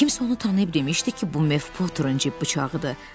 Kimsə onu tanıyıb demişdi ki, bu Mef Poterin cib bıçağıdır.